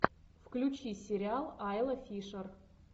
включи сериал айла фишер